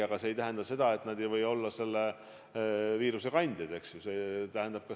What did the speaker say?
Aga see ei tähenda, et nad ei või olla selle viiruse kandjad.